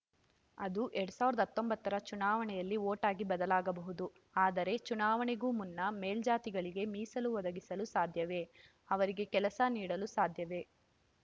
ಅದು ಎರಡ್ ಸಾವಿರದ ಹತ್ತೊಂಬತ್ತರ ಚುನಾವಣೆಯಲ್ಲಿ ಓಟಾಗಿ ಬದಲಾಗಬಹುದು ಆದರೆ ಚುನಾವಣೆಗೂ ಮುನ್ನ ಮೇಲ್ಜಾತಿಗಳಿಗೆ ಮೀಸಲು ಒದಗಿಸಲು ಸಾಧ್ಯವೇ ಅವರಿಗೆ ಕೆಲಸ ನೀಡಲು ಸಾಧ್ಯವೇ